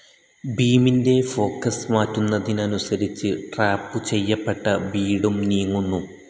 ബീമിന്റെ ഫോക്കസ്‌ മാറ്റുന്നതനുസരിച്ച് ട്രാപ്പ്‌ ചെയ്യപ്പെട്ട ബീഡും നീങ്ങുന്നു.